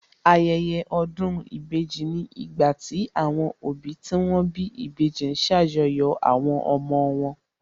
Ayẹyẹ ọdún ìbejì ni ìgbà tí àwọn òbí tí wón bí ìbejì ma ń ṣàjọyọ̀ àwọn ọmọ wọn